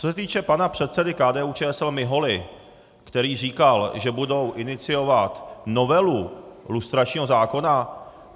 Co se týče pana předsedy KDU-ČSL Miholy, který říkal, že budou iniciovat novelu lustračního zákona.